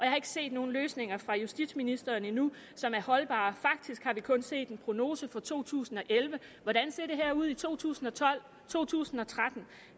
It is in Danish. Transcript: har ikke set nogen løsninger fra justitsministeren endnu som er holdbare faktisk har vi kun set en prognose for to tusind og elleve hvordan ser det her ud i to tusind og tolv 2013